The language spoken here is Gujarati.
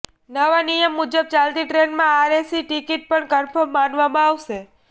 નવા નિયમ મુજબ ચાલતી ટ્રેનમાં આરએસી ટિકિટ પણ કન્ફર્મ માનવામાં આવશે